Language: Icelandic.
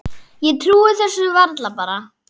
Ég trúi þessu bara varla.